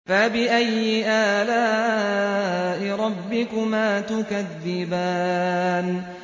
فَبِأَيِّ آلَاءِ رَبِّكُمَا تُكَذِّبَانِ